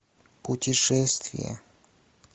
путешествие